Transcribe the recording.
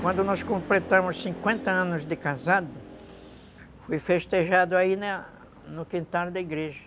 Quando nós completamos cinquenta anos de casado, foi festejado aí no quintal da igreja.